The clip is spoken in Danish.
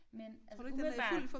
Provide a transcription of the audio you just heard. Men altså umiddelbart